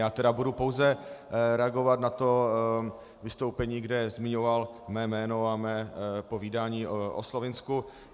Já tedy budu pouze reagovat na to vystoupení, kde zmiňoval mé jméno a mé povídání o Slovinsku.